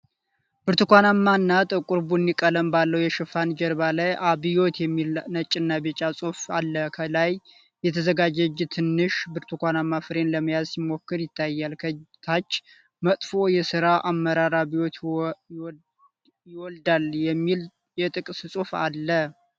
ብርቱካንማ እና ጥቁር ቡኒ ቀለም ባለው የሽፋን ጀርባ ላይ "አብዮት" የሚል ነጭና ቢጫ ጽሑፍ አለ። ከላይ የተዘረጋ እጅ ትንሽ ብርቱካንማ ፍሬን ለመያዝ ሲሞክር ይታያል። ከታች "መጥፎ የሥራ አመራር አብዮትን ይወልዳል" የሚል የጥቅስ ጽሑፍ አለ።